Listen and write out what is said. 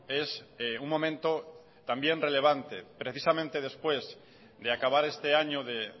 es un momento también relevante precisamente después de acabar este año de